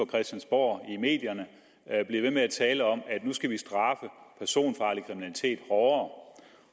christiansborg i medierne bliver ved med at tale om at nu skal vi straffe personfarlig kriminalitet hårdere